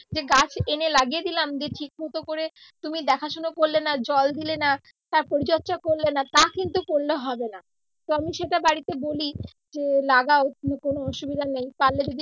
যে গাছ এনে লাগিয়ে দিলাম যে ঠিক মত করে তুমি দেখাশুনা করলে নাহ জল দিলে নাহ তার পরিচর্চা করলে নাহ তা কিন্তু করলে হবে নাহ তো আমি সেটা বাড়ীতে বলি যে লাগাও অন্য কোন অসুবিধা নেই